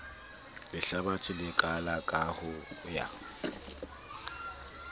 lehlabathe le kalaka ho ya